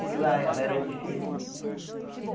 Porque lá era difícil.